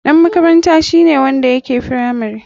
Ɗan makaranta shine wanda yake firamare.